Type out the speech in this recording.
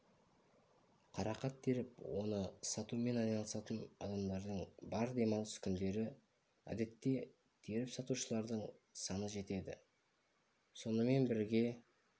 қарақат теріп оны сатумен айналысатын адамдар бар демалыс күндері әдетте теріп-сатушылардың саны жетеді сонымен бірге